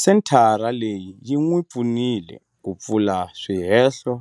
Senthara leyi yi n'wi pfunile ku pfula swihehlo